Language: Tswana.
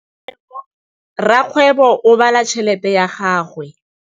Rakgwêbô o bala tšheletê ya gagwe.